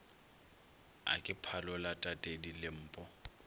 a ke phalola tatedi lempo